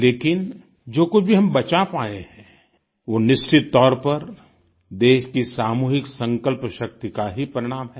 लेकिन जो कुछ भी हम बचा पाएं हैं वो निश्चित तौर पर देश की सामूहिक संकल्पशक्ति का ही परिणाम है